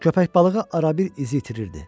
Köpək balığı arabir izi itirirdi.